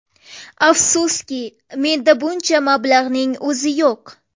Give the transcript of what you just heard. Afsuski, menda buncha mablag‘ning o‘zi yo‘q.